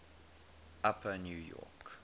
upper new york